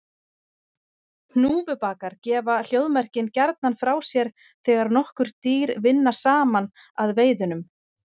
Hnúfubakar gefa hljóðmerkin gjarnan frá sér þegar nokkur dýr vinna saman að veiðunum.